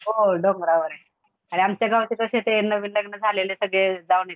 हो हो डोंगरावरे आणि आमच्या गावाचे कशे ते नवीन लग्न झालेले सगळे जाऊन येतात.